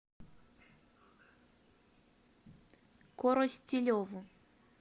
коростелеву